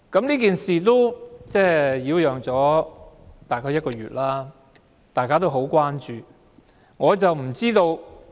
這件事已擾攘大約1個月，大家也十分關注。